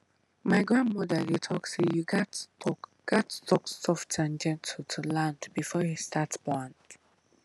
my grandmother dey talk say you gats talk gats talk soft and gentle to land before you start plant